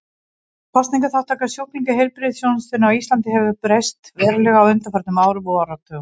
Kostnaðarþátttaka sjúklinga í heilbrigðisþjónustunni á Íslandi hefur breyst verulega á undanförnum árum og áratugum.